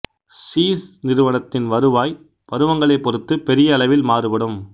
ஸீஸ் நிறுவனத்தின் வருவாய் பருவங்களைப் பொறுத்து பெரிய அளவில் மாறுபடும்